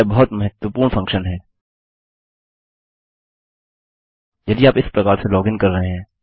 यह बहुत महत्वपूर्ण फंक्शन है यदि आप इस प्रकार से लॉग इन कर रहे हैं